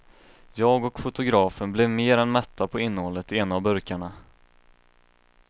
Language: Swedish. Jag och fotografen blev mer än mätta på innehållet i en av burkarna.